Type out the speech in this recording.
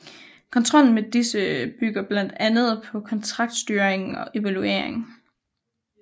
Kontrollen med disse bygger blandt andet på kontraktstyring og evaluering